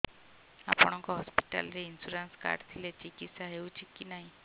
ଆପଣଙ୍କ ହସ୍ପିଟାଲ ରେ insurance card ଥିଲେ ଚିକିତ୍ସା ହେଉଛି କି ନାଇଁ